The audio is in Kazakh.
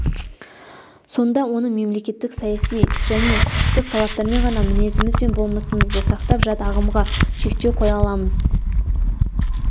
сонда оны мемлекеттік-саяси және құқықтық талаптармен ғана мінезіміз бен болмысымызды сақтап жат ағымға шектеу қоя аламыз